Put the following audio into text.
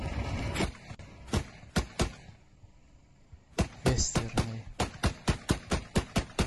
вестерны